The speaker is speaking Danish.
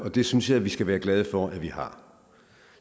det synes jeg vi skal være glade for vi har